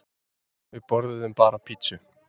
Við borðuðum bara pizzu.